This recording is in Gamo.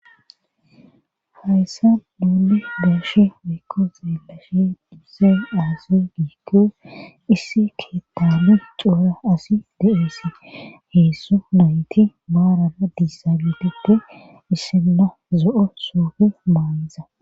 Hayssa duuli beeshe wiikko zeelashe diisay aasi giikki issi keettalu xuura asi deesse heessu nayti baarana diisaelete issinna zo7o soufe maaniza